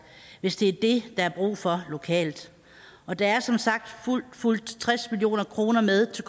hvis det er det er brug for lokalt og der er som sagt fulgt tres million kroner med til